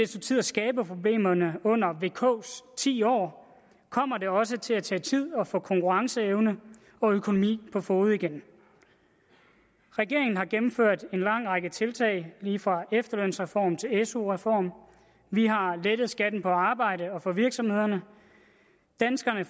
tid at skabe problemerne under vks ti år kommer det også til at tage tid at få konkurrenceevne og økonomi på fode igen regeringen har gennemført en lang række tiltag lige fra efterlønsreform til su reform vi har lettet skatten på arbejde og for virksomhederne danskerne